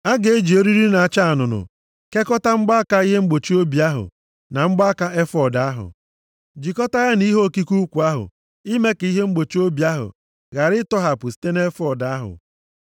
A ga-eji eriri na-acha anụnụ kekọta mgbaaka ihe mgbochi obi ahụ na mgbaaka efọọd ahụ, jikọtaa ya na ihe okike ukwu ahụ, ime ka ihe mgbochi obi ahụ ghara ịtọghapụ site nʼefọọd ahụ.